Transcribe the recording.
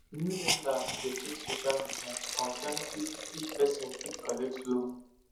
new lenders dey check social media to confirm if if person fit collect loan